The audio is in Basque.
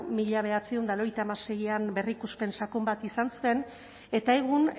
mila bederatziehun eta laurogeita hamaseian berrikuspen sakon bat izan zuen eta egun